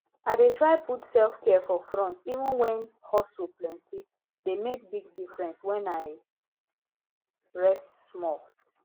i dey try put selfcare for front even when hustle plentye dey make big difference when i rest small